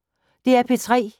DR P3